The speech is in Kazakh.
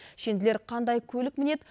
шенділер қандай көлік мінеді